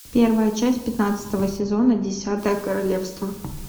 первая часть пятнадцатого сезона десятое королевство